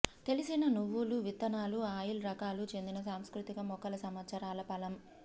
తెలిసిన నువ్వులు విత్తనాలు ఆయిల్ రకాలు చెందిన సాంస్కృతిక మొక్కల సంవత్సరాల ఫలం